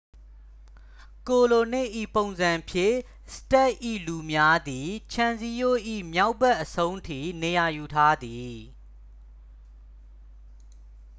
ကိုလိုနစ်၏ ပုံစံဖြင့် စတ့ပ်၏ လူများသည် ခြံစည်းရိုး၏ မြောက်ဘက်အဆုံးထိ နေရာယူထားသည်